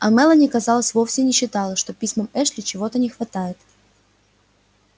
а мелани казалось вовсе не считала что письмам эшли чего-то не хватает